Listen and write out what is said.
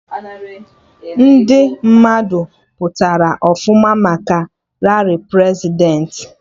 Ndị mmadụ pụtara ọfụma maka rali Prezidentị